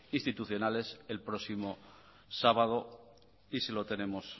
institucionales el próximo sábado y se lo tenemos